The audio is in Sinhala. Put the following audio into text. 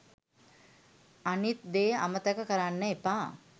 අනිත් දේ අමතක කරන්න එපා